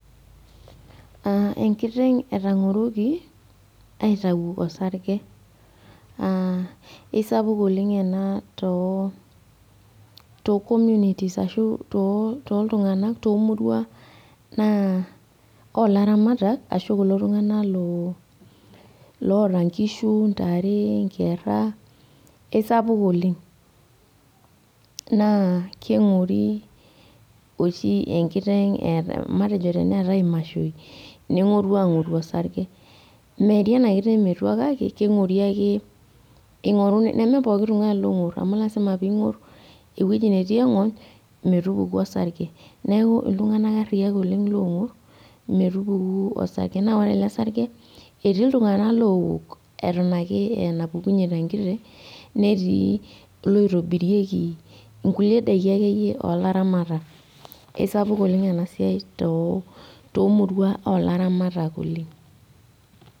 Aa , enkiteng etangoroki aitau osarge aa isapuk enaa too tocommunities ashu too toltunganak tomurua naa olaramatak ashu kulo tunganak looloota nkishu , ntare , nkera isapuk oleng naa kingori oshi enkiteng eetae, matejo teneetae imashoi nengoru angoru osarge .Meeri enakiteng metua kake kengori ake ingor, nemepooki tungani longor , amu lasima pingor ewueji netii engony metupuku osarge neeku iltunganak ariak oleng longor metupuku osarge . Naa ore ele sarge etii iltunganak lowok eton ake eenapukunyie tenkiteng , netii iloitobirieki nkulie daiki akeyie olaramatak, eisapuk oleng ena siai too tomurua olaramatak oleng.